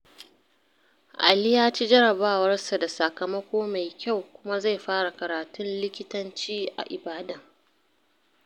Ali ya ci jarabawarsa da sakamako mai kyau kuma zai fara karatun likitanci a Ibadan.